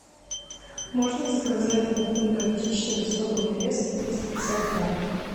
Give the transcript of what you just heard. можно заказать батон горчичный в особой нарезке триста пятьдесят грамм